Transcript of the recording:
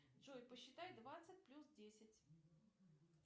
джой посчитай двадцать плюс десять